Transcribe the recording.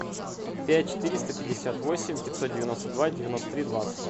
пять четыреста пятьдесят восемь пятьсот девяносто два девяносто три двадцать